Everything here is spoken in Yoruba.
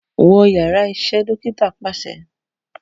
Wọ yara iṣẹ iṣẹ Dokita paṣẹ